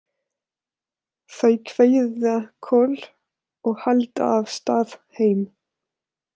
Þau kveðja Kol og halda af stað heim.